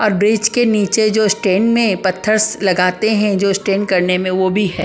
और ब्रीज के नीचे जो स्टेन में पत्थरस लगाते हैं जो स्टेन करने में वो भी है ।